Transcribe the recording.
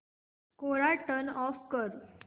कोरा turn off कर